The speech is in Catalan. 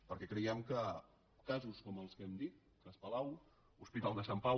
perquè creiem que casos com els que hem dit cas palau hospital de sant pau